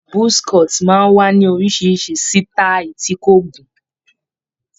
Buzz cut máa ń wá ní oríṣiríṣi sítáì tí kò gùn m